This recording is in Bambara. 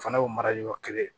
O fana y'o marali yɔrɔ kelen ye